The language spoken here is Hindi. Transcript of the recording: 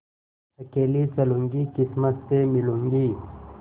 अकेली चलूँगी किस्मत से मिलूँगी